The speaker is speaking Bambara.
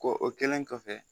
Ko o kɛlen kɔfɛ